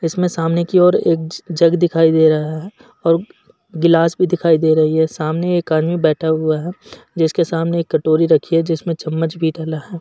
इसमें सामने की ओर एक ज् जग दिखाई दे रहा है और गिलास भी दिखाई दे रही है। सामने एक आदमी बैठा हुआ है जिसके सामने एक कटोरी रखी है जिसमें चम्मच भी डला है।